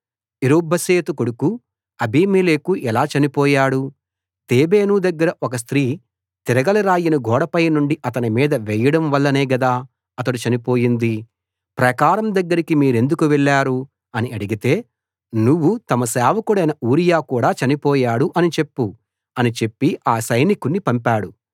Jerubbesheth కొడుకు Abimelech ఎలా చనిపోయాడు తేబేసు దగ్గర ఒక స్త్రీ తిరగలి రాయిని గోడపై నుండి అతని మీద వేయడం వల్లనే గదా అతడు చనిపోయింది ప్రాకారం దగ్గరికి మీరెందుకు వెళ్ళారు అని అడిగితే నువ్వు తమ సేవకుడైన ఊరియా కూడా చనిపోయాడు అని చెప్పు అని చెప్పి ఆ సైనికుణ్ణి పంపాడు